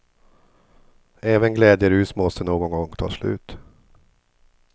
Även glädjerus måste någon gång ta slut.